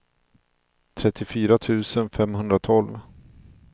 trettiofyra tusen femhundratolv